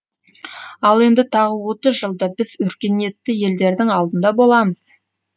ал енді тағы отыз жылда біз өркениетті елдердің алдында боламыз